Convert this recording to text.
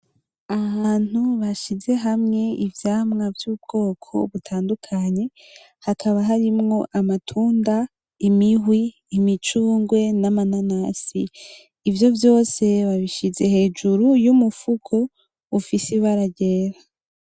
Ahantu bashize hamwe ivyamwa vy’ubwoko butandukanye hakaba harimwo amatunda, imihwi, imicungwe, n’amananasi. Ivyo vyose babishize hejuru y’umufuko ufise ibara ryera.